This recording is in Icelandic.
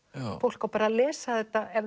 fólk á að lesa þetta